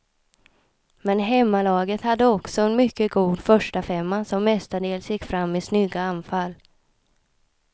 Men hemmalaget hade också en mycket god förstafemma som mestadels gick fram i snygga anfall.